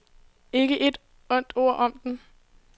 Ikke et ondt ord om den.